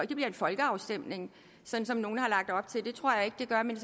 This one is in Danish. det bliver en folkeafstemning som nogle har lagt op til det tror jeg ikke det gør men